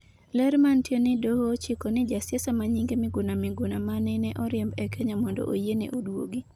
ler manitie ni doho ochiko ni jasiasa ma nyinge Miguna Miguna manene oriemb e Kenya mondo oyiene oduog